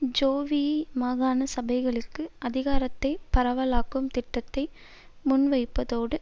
JVP மாகாண சபைகளுக்கு அதிகாரத்தை பரவலாக்கும் திட்டத்தை முன்வைப்பதோடு